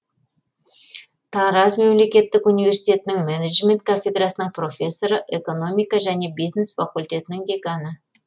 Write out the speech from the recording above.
тараз мемлекеттік университетінің менеджмент кафедрасының профессоры экономика және бизнес факультетінің деканы